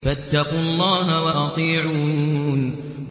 فَاتَّقُوا اللَّهَ وَأَطِيعُونِ